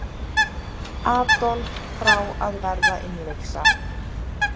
Adolf frá að verða innlyksa.